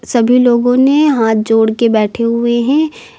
सभी लोगों ने हाथ जोड़ के बैठे हुए है।